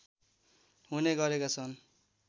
हुने गरेका छन्